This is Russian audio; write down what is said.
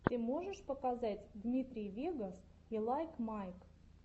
ты можешь показать дмитрий вегас и лайк майк